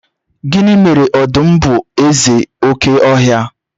gini mere odum bu eze oke ohia?